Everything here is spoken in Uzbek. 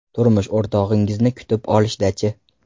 Turmush o‘rtog‘ingizni kutib olishda-chi?